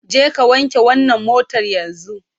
Jeka wanke wannan motar yanzu!